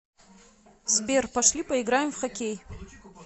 сбер пошли поиграем в хоккей